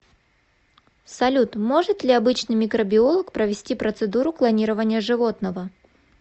салют может ли обычный микробиолог провести процедуру клонирования животного